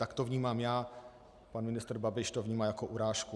Tak to vnímám já, pan ministr Babiš to vnímá jako urážku.